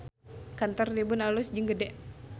Kantor Tribun alus jeung gede